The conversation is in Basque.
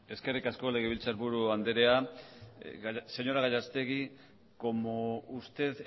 eskerrik asko legebiltzarburu andrea señora gallastegui como usted